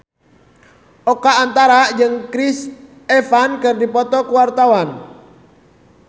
Oka Antara jeung Chris Evans keur dipoto ku wartawan